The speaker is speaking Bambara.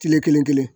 Kile kelen